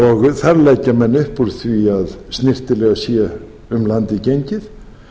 þar leggja menn upp úr því að snyrtilega sé um landið gengið